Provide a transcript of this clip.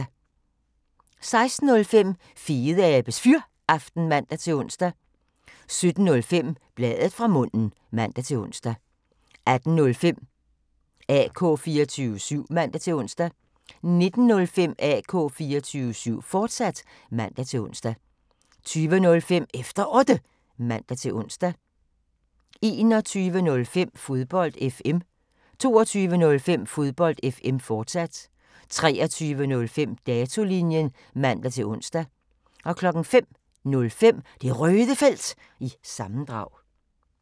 16:05: Fedeabes Fyraften (man-ons) 17:05: Bladet fra munden (man-ons) 18:05: AK 24syv (man-ons) 19:05: AK 24syv, fortsat (man-ons) 20:05: Efter Otte (man-ons) 21:05: Fodbold FM 22:05: Fodbold FM, fortsat 23:05: Datolinjen (man-ons) 05:05: Det Røde Felt – sammendrag